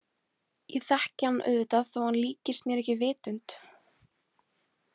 Ég þekki hann auðvitað þó að hann líkist mér ekki vitund.